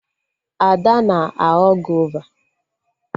Ada na-aghọ gova